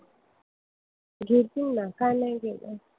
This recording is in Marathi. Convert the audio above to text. घेतील ना. का नाही घेणार?